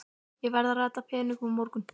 Ég verð að redda peningum á morgun.